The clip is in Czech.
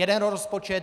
Jeden rozpočet.